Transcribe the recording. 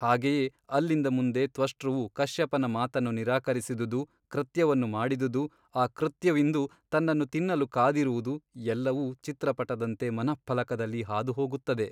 ಹಾಗೆಯೇ ಅಲ್ಲಿಂದ ಮುಂದೆ ತ್ವಷ್ಟೃವು ಕಶ್ಯಪನ ಮಾತನ್ನು ನಿರಾಕರಿಸಿದುದು ಕೃತ್ಯವನ್ನು ಮಾಡಿದುದು ಆ ಕೃತ್ಯವಿಂದು ತನ್ನನ್ನು ತಿನ್ನಲು ಕಾದಿರುವುದು ಎಲ್ಲವೂ ಚಿತ್ರಪಟದಂತೆ ಮನಃಫಲಕದಲ್ಲಿ ಹಾದು ಹೋಗುತ್ತದೆ.